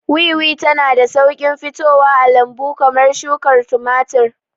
Wiwi tana da sauƙin fitowa a lambu kamar shukar tumatir.